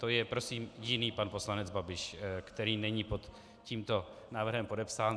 To je prosím jiný pan poslanec Babiš, který není pod tímto návrhem podepsán.